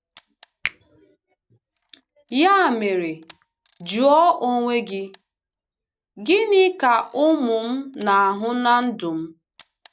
Ya mere, jụọ onwe gị: ‘Gịnị ka ụmụ m na-ahụ na ndụ m?